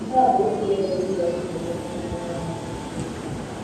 Nke a bụ otu ihe mere Jisọs ji kpọọ ekwensụ onye ụgha na ogbu mmadụ.